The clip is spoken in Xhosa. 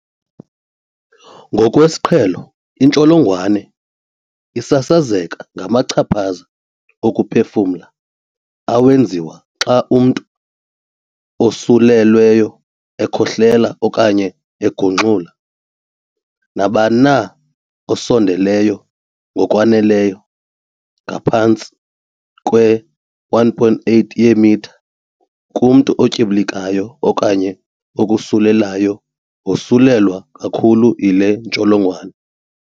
Ngokwesiqhelo, intsholongwane isasazeka ngamachaphaza okuphefumla awenziwa xa umntu osulelweyo ekhohlela okanye egungxula. Nabani na osondeleyo ngokwaneleyo, ngaphantsi kwe-1.8 yeemitha, kumntu otyibilikayo okanye okosulelayo wosulelwa kakhulu yile ntsholongwane.